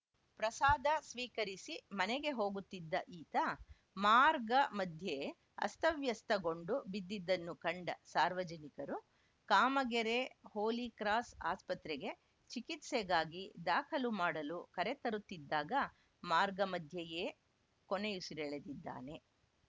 ಪ್ರಸಾದ ಸ್ವೀಕರಿಸಿ ಮನೆಗೆ ಹೋಗುತ್ತಿದ್ದ ಈತ ಮಾರ್ಗ ಮಧ್ಯೆ ಅಸ್ತವ್ಯಸ್ತಗೊಂಡು ಬಿದ್ದಿದ್ದನ್ನು ಕಂಡ ಸಾರ್ವಜನಿಕರು ಕಾಮಗೆರೆ ಹೋಲಿಕ್ರಾಸ್‌ ಆಸ್ಪತ್ರೆಗೆ ಚಿಕಿತ್ಸೆಗಾಗಿ ದಾಖಲು ಮಾಡಲು ಕರೆತರುತ್ತಿದ್ದಾಗ ಮಾರ್ಗ ಮಧ್ಯೆಯೇ ಕೊನೆಯುಸಿರೆಳೆದಿದ್ದಾನೆ